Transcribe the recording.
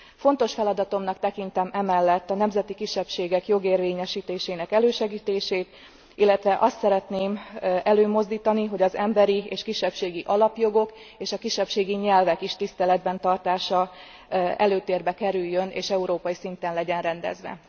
Fontos feladatomnak tekintem emellett a nemzeti kisebbségek jogérvényesítésének elősegítését, illetve azt szeretném előmozdítani, hogy az emberi és kisebbségi alapjogok és a kisebbségi nyelvek tiszteletben tartása is előtérbe kerüljön, és európai szinten legyen rendezve.